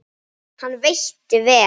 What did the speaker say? Hann veitti vel